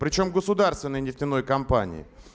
причём государственной нефтяной компании